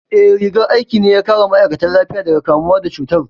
Eh, rigar aikin ne ya kare ma'aikatan lafiya daga kamuwa da cutar